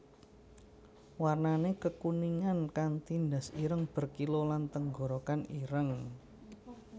Warnané kekuningan kanti ndas ireng berkilau lan tenggorokan ireng